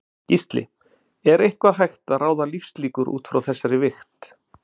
Gísli: Er eitthvað hægt að ráða lífslíkur útfrá þessari vigt?